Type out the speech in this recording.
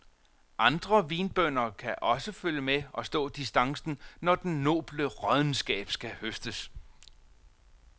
Andre vinbønder kan også følge med og stå distancen, når den noble råddenskab skal høstes.